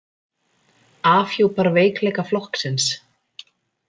Afhjúpar veikleika flokksins